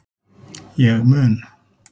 Ég mun